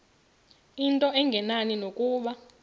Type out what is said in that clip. into engenani nokuba